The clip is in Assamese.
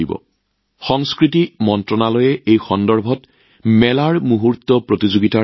একেটা সন্দৰ্ভত সাংস্কৃতিক মন্ত্ৰালয়ে আয়োজন কৰিছিল মেলা মমেণ্ট প্ৰতিযোগিতা